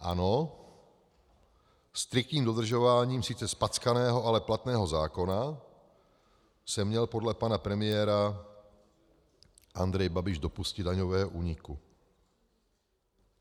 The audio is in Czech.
Ano, striktním dodržováním sice zpackaného, ale platného zákona se měl podle pana premiéra Andrej Babiš dopustit daňového úniku.